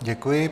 Děkuji.